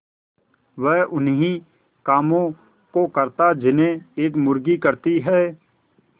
वह उन्ही कामों को करता जिन्हें एक मुर्गी करती है